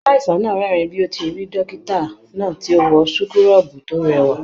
Aláìsàn náà rẹ́rìn bi o ṣe rí dókítà náà ti o wọn súkúrọbuù to rẹwà.